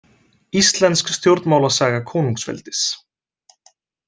Íslensk stjórnmálasaga konungsveldis.